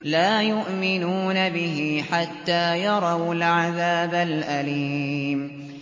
لَا يُؤْمِنُونَ بِهِ حَتَّىٰ يَرَوُا الْعَذَابَ الْأَلِيمَ